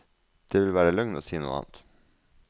Det ville være løgn å si noe annet.